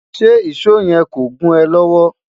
ṣé ìsọ yen kọ gùn é lówó?